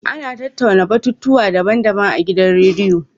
Ana tattauna batutuwa daban-daban a gidan rediyo.